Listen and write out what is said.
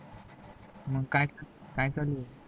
मग काय, काय चालू आहे